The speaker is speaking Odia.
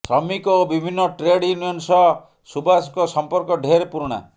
ଶ୍ରମିକ ଓ ବିଭିନ୍ନ ଟ୍ରେଡ୍ ୟୁନିୟନ୍ ସହ ସୁବାସଙ୍କ ସମ୍ପର୍କ ଢେର୍ ପୁରୁଣା